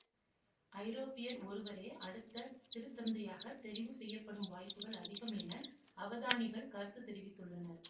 ஐரோப்பியர் ஒருவரே அடுத்த திருத்தந்தையாக தெரிவு செய்யப்படும் வாய்ப்புகள் அதிகம் என அவதானிகள் கருத்து தெரிவித்துள்ளனர்